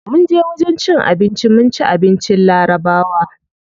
Munje wajen cin abinci mun ci abincin larabawa.